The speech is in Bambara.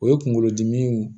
O ye kunkolodimi